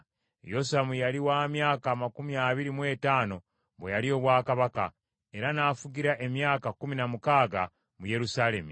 Yosamu yali wa myaka amakumi abiri mu etaano bwe yalya obwakabaka, era n’afugira emyaka kkumi na mukaaga mu Yerusaalemi.